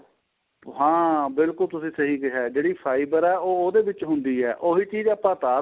ਹਾਂ ਬਿਲਕੁਲ ਤੁਸੀਂ ਸਹੀ ਕਿਹਾ ਏ ਜਿਹੜੀ fiber ਏ ਉਹ ਉਹਦੇ ਵਿੱਚ ਹੁੰਦੀ ਏ ਉਹੀ ਚੀਜ ਆਪਾਂ ਉਤਾਰ